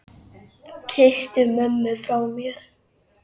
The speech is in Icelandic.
Kysstu mömmu frá mér.